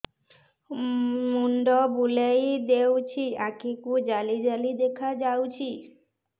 ମୁଣ୍ଡ ବୁଲେଇ ଦେଉଛି ଆଖି କୁ ଜାଲି ଜାଲି ଦେଖା ଯାଉଛି